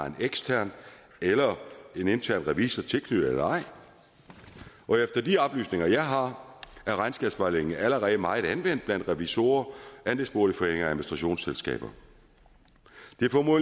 en ekstern eller en intern revisor tilknyttet eller ej efter de oplysninger jeg har er regnskabsvejledningen allerede meget anvendt blandt revisorer andelsboligforeninger og administrationsselskaber